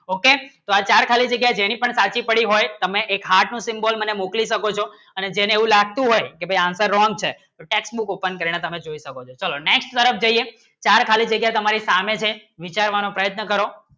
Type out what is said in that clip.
okay ચાર ખાલી જગ્યા જેની પણ સાચી પડી હોય તમે એક heart ની symbol મને મુખવિ શકો છો અને જેને એ લાગતો હોય કી બહિય્યા answer wrong છે textbook open કરીને ચલો next તરફ જઇયે ચાર ચાર ખાલી જગ્યા છે વિચાર કરો પ્રયત્ન કરો